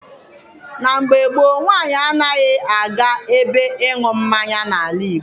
Na mgbe gboo, nwaanyị anaghị aga ebe ịṅụ mmanya n'ala Igbo.